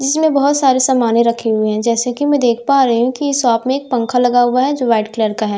जिसमें बहुत सारे सामाने रखे हुई हैं जैसे कि मैं देख पा रही हूं कि इस शॉप में पंखा लगा हुआ है जो व्हाइट कलर का है दो--